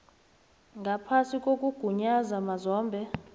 ngaphasi kokugunyaza mazombe